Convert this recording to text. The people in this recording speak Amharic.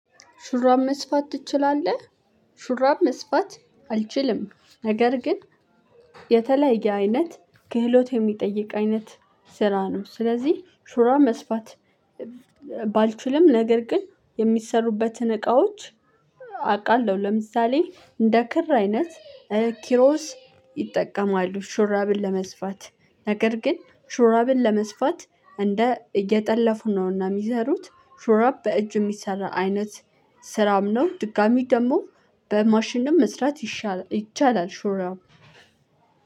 ሹራብ መስፋት ትችላለህ? ሹራብ መስፋት አልችልም ነገር ግን የተለያየ አይነት ክህሎት የሚጠይቅ አይነት ስራ ነው ስለዚህ ሹራብ መስፋት። ባልችልም ነገር ግን የሚሰሩበትን እቃዎች አቃለሁ። ለምሳሌ እንደ ክር አይነት ኪሮስ ይጠቀማሉ ሹራብን ለመስፋት ነገር ግን ሹራብን ለመስፋት እንደ እየጠለፉ ነው እና ሚሰሩት። ሹራብ በእጅ ሚሰራ አይነት ስራም ነው ድጋሚ ደሞ በማሽንም መስፋት ይሻ ይቻላል ሹራብ።